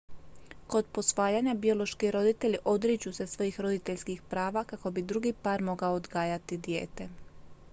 kod posvajanja biološki roditelji odriču se svojih roditeljskih prava kako bi drugi par mogao odgajati dijete